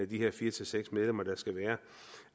de her fire seks medlemmer der skal være